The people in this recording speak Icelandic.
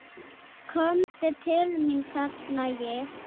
Komdu til mín, kalla ég.